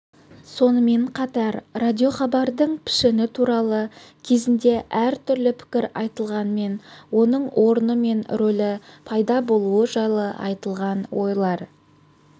сонымен қатар радиохабардың пішіні туралы кезінде әртүрлі пікір айтылғанмен оның орны мен рөлі пайда болуы жайлы айтылған ойлар